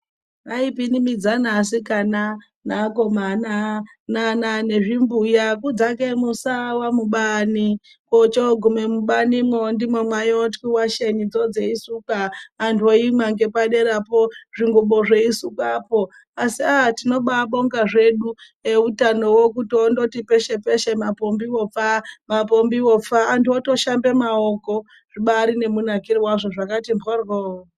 Vaipimbimidzana vakomana navasikana nezvimbuya kudzake musawa mubani mechinoguma mubani imomo ndimo maiwachwa washeni dzeikusukwa vantu veiimwa nepaderapo zvikumbo zveisukwapo asi aa tibaibonga zvedu neutanowo wongoti peshe peshe mapombiwo pfaa mapombiwo pfaa vantu votoshambe maoko zvibari nemunakire wazvo zvakati mbhoryo.